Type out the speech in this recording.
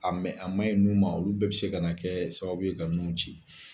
A mɛ, a manɛ ɲi nun ma olu bɛɛ be se ka na kɛ sababu ye ka nun ci.